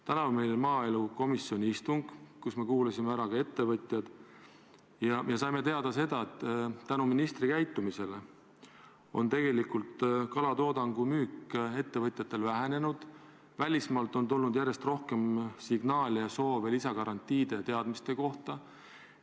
Täna oli meil maaelukomisjoni istung, kus me kuulasime ära ka ettevõtjad ja saime teada, et ministri käitumise tõttu on ettevõtjatel kalatoodangu müük vähenenud ning välismaalt on tulnud järjest rohkem signaale ja soove lisagarantiide vms teadmiste kohta.